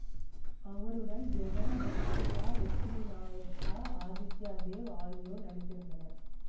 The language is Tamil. அவருடன் ஜெகன் தன்சிகாலட்சுமி நாயர்ஸ ஆதித்யா தேவ் ஆகியோர் நடித்திருந்தனர்